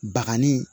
Bagani